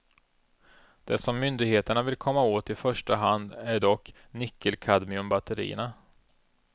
Det som myndigheterna vill komma åt i första hand är dock nickelkadmiumbatterierna.